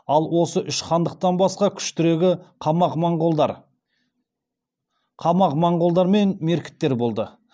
ал осы үш хандықтан басқа күштірегі қамағ моңғолдар мен меркіттер болды